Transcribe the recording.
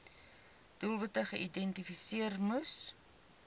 doelwitte geïdentifiseer moes